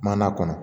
Mana kɔnɔ